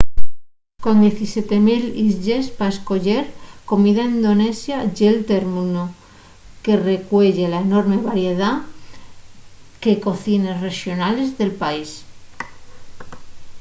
con 17 000 islles pa escoyer comida indonesia ye'l términu que recueye la enorme variedá que cocines rexonales del país